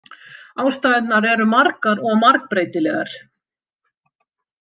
Ástæðurnar eru margar og margbreytilegar.